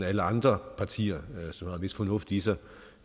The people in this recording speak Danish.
alle andre partier som har en vis fornuft i sig